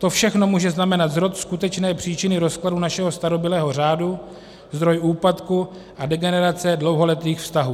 To všechno může znamenat zrod skutečné příčiny rozkladu našeho starobylého řádu, zdroj úpadku a degenerace dlouholetých vztahů.